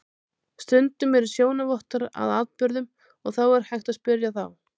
Stundum eru sjónarvottar að atburðum og er þá hægt að spyrja þá.